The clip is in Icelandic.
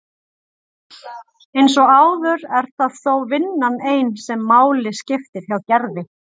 Eins og áður er það þó vinnan ein sem máli skiptir hjá Gerði.